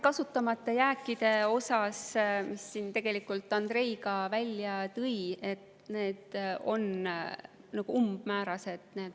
Kasutamata jääkide kohta, mida siin ka Andrei välja tõi, on vastused olnud umbmäärased.